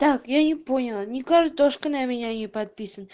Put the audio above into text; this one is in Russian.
так я не поняла ни картошка на меня не подписан